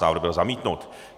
Návrh byl zamítnut.